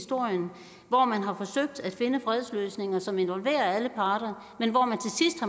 hvor man har forsøgt at finde fredsløsninger som involverer alle parter men hvor